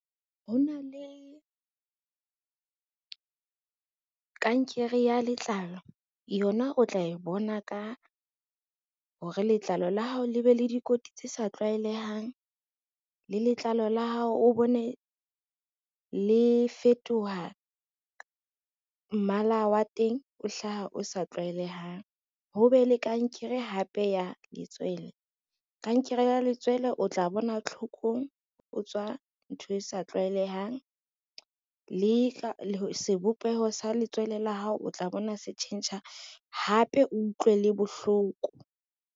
Ho na le kankere ya letlalo, yona o tla e bona ka hore letlalo la hao le be le dikoti tse sa tlwaelehang, le letlalo la hao o bone le fetoha mmala wa teng o hlaha o sa tlwaelehang. Ho be le kankere hape ya letswele, kankere ya letswele o tla bona tlhokong o tswa ntho e sa tlwaelehang, le sebopeho sa letswele la hao o tla bona se tjhentjha hape o utlwe le bohloko.